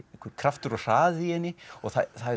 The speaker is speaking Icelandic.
kraftur og hraði í henni og það